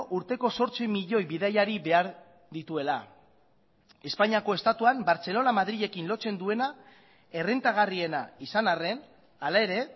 urteko zortzi milioi bidaiari behar dituela espainiako estatuan bartzelona madrilekin lotzen duena errentagarriena izan arren hala ere